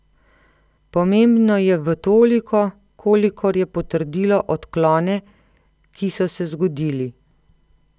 Pomembno je v toliko, kolikor je potrdilo odklone, ki so se zgodili.